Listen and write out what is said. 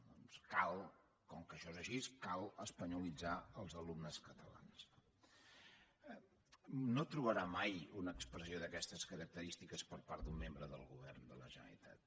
doncs com que això és així cal espanyolitzar els alumnes catalans no no trobarà mai una expressió d’aquestes característiques per part d’un membre del govern de la generalitat